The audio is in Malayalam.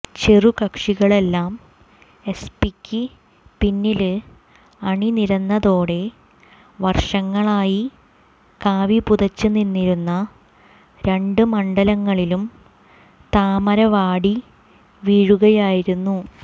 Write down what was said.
ചെറുകക്ഷികളെല്ലാം എസ്പിക്ക് പിന്നില് അണിനിരന്നതോടെ വര്ഷങ്ങളായി കാവിപുതച്ച് നിന്നിരുന്ന രണ്ട് മണ്ഡലങ്ങളിലും താമരവാടി വീഴുകയായിരുന്നു